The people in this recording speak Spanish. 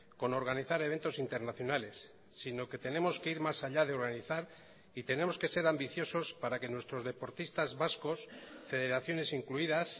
con organizar eventos internacionales sino que tenemos que ir más allá de organizar y tenemos que ser ambiciosos para que nuestros deportistas vascos federaciones incluidas